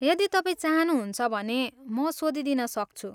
यदि तपाईँ चाहनुहुन्छ भने म सोधिदिन सक्छु।